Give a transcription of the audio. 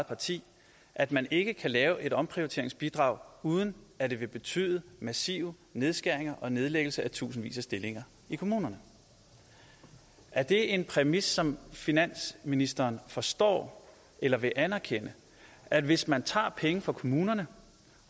parti at man ikke kan lave et omprioriteringsbidrag uden at det vil betyde massive nedskæringer og nedlæggelse af tusindvis af stillinger i kommunerne er det en præmis som finansministeren forstår eller vil anerkende at hvis man tager penge fra kommunerne